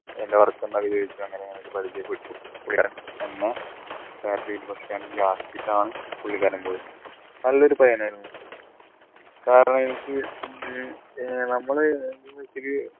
എൻറെ work എന്താന്ന് ഒക്കെ ചോദിച്ചു അങ്ങനെ ഇങ്ങനെയൊക്കെ പരിചയപ്പെട്ടു എന്നെ satellite bus stand പുള്ളിക്കാരൻ പോയത് നല്ലൊരു പയ്യനായിരുന്നു കാരണം എനിക്ക് ഉം ഏർ നമ്മളെ ഇതില്